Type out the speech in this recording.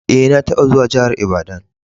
Eh, na taba zuwan jihar lbadan.